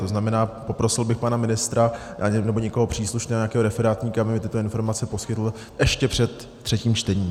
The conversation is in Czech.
To znamená, poprosil bych pana ministra nebo někoho příslušného, nějakého referátníka, aby mi tyto informace poskytl ještě před třetím čtením.